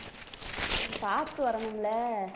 பார்த்து வரணும் இல்லை